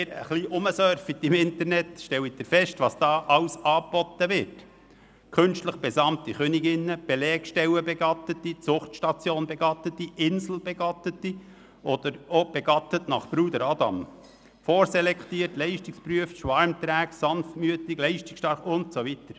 Im Internet können Sie sehen, was da angeboten wird: künstlich besamte Königinnen, Belegstellenbegattete, Zuchtstationsbegattete, Inselbegattete oder begattet nach Bruder Adam, vorselektiert, leistungsgeprüft, schwarmträg, sanftmütig, leistungsstark und so weiter.